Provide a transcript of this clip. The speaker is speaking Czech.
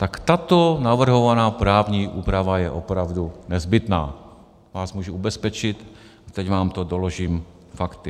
Tak tato navrhovaná právní úprava je opravdu nezbytná, vás můžu ubezpečit, teď vám to doložím fakty.